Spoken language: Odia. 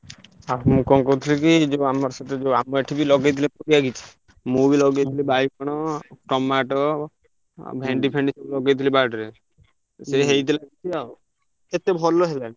ଆଉ ମୁଁ କହୁଥିଲି କି ଯୋଉ ଆମର ସେଠି ଯୋଉ ଆମର ଏଠିବି ଲଗେଇଥିଲେ ପରିବା କିଛି। ମୁଁ ବି ଲଗେଇଥିଲି ବାଇ ଗଣ tomato ଆଉ ଭେଣ୍ଡି ଫେଣ୍ଡି ସବୁ ଲଗେଇଥିଲି ବାଡିରେ। ସିଏ ହେଇଥିଲା କିଛି ଆଉ ଏତେ ଭଲ ହେଲାନି।